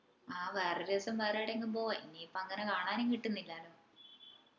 അഹ് വേറെ ദിവസം വേറെ എവിടെയെങ്കിലും പോവ്വാ ഇന്ജെ ഇപ്പൊ അങ്ങനെ കാണാനും കിട്ടുന്നില്ലല്ലോ